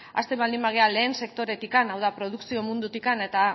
hasten baldin bagara lehen sektoretik hau da produkzio mundutik eta